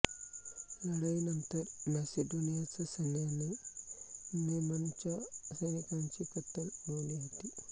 लढाईनंतर मॅसिडोनियाचा सैन्याने मेममनच्या सैनिकांची कत्तल उडवली होती